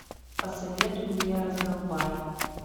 посоветуй мне раздолбай